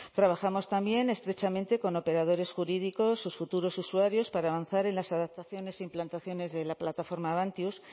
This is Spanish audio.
trabajamos también estrechamente con operadores jurídicos sus futuros usuarios para avanzar en las adaptaciones e implantaciones de la plataforma avantius